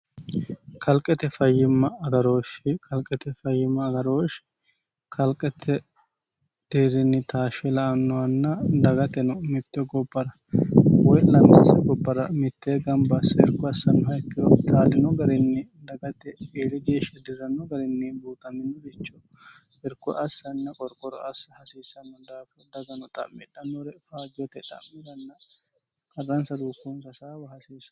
kalqete fayyimma agarooshshi kalqete fayyimma agarooshshi kalqete dirinnitaashshe la annoanna dagate no mitte gobara woy lanmesse gobbara mittee gambaasse irko assannoha ikkino taalino garinni dagate ieli geeshshi dirranno garinni buutamino bicho irko assanna qorqoro assi hasiissanno daafi dagano xa'midhannore faajyote xa'miranna karransa ruukuunfa saawa hasiissan